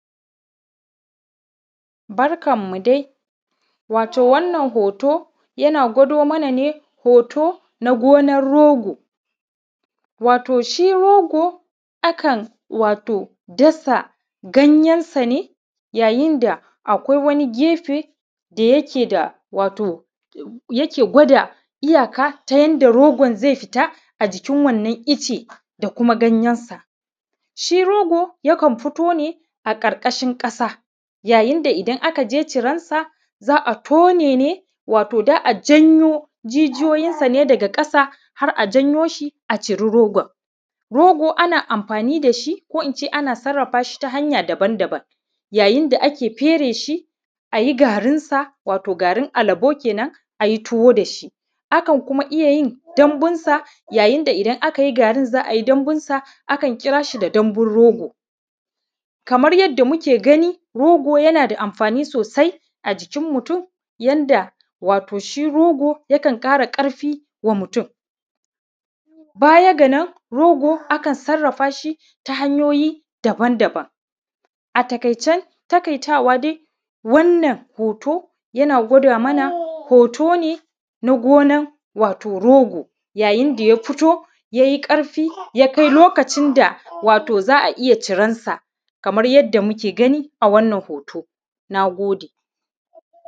Barkanmu dai wato wannan hoto yana gwado mana ne hoto na gonan rogo. Wato shi rogo akan wato dasa ganyen sane yayin da akwai wani gefe da yake da, wato yake gwada iyaka ta yanda rogon zai fita a jikin wannan icen da kuma ganyensa. Shi rogo yakan fitone a karkashin kasa, yayin da idan akaje ciransa za'a tonene, wato za'a ǳanyo jijiyoyinsa ne daga kasa har a janyo shi a ciri rogon. Rogo ana anfani dashi koh ince ana sarrafashii ta hanya daba-daban yayin da ake fere shi ayi garin sa wato garin alabo kenan ayi tuwo dashi, akan kuma iya yin dambusa yayin da idan akai garin sa za ai dambunsa akan kirashi da dambun rogo, Kamar yadda muke gani, rogo yana da anfani sosai a jikin mutun yanda wato shi rogo yakan kara karfi wa mutun. Baya ga nan rogo akan sarrafashi ta hanyoyi daban-daban, a takaice takaitawa dai wannan hoto yana gwada mana hotone na gonan wato rogo yayin da ya fito yai karfi ya kai lokacin da wato za'a iya ciransa kaman yadda muke gani a wannan hoto, nagode